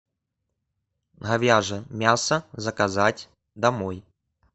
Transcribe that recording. говяжье мясо заказать домой